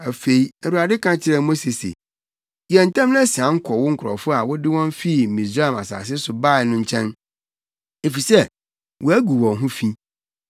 Afei, Awurade ka kyerɛɛ Mose se, “Yɛ ntɛm na sian kɔ wo nkurɔfo a wode wɔn fi Misraim asase so bae no nkyɛn, efisɛ wɔagu wɔn ho fi,